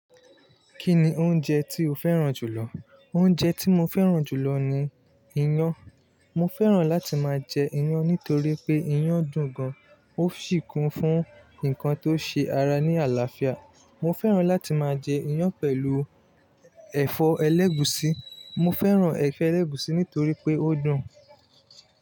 Kí ni oúnjẹ tí o fẹ́ràn jù lọ? Oúnjẹ tí mo fẹ́ràn jù lọ ni iyán. Mo fẹ́ràn láti máa jẹ iyán nítorí pé iyán dùn gan. Ó sì kún fún nǹkan tó ṣe ara ní àlàáfíà. Mo fẹ́ràn láti máa jẹ iyán pẹ̀lú ẹ̀fọ́ ẹlẹ́gùsí. Mo fẹ́ràn ẹ̀fọ ẹlẹ́gùsí nítorí pé ó dùn.